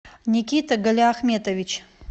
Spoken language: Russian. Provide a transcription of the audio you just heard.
никита галиахметович